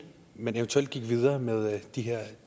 man eventuelt gik videre med de her